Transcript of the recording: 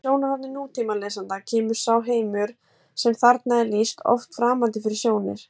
Frá sjónarhorni nútímalesanda kemur sá heimur sem þarna er lýst oft framandi fyrir sjónir: